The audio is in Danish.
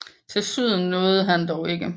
Til syden nåede han dog ikke